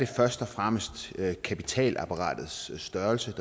først og fremmest er kapitalapparatets størrelse